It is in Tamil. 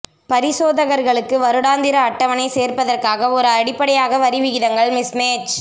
பரிசோதகர்களுக்கு வருடாந்திர அட்டவணை சேர்ப்பதற்காக ஒரு அடிப்படையாக வரி விகிதங்கள் மிஸ்மேட்ச்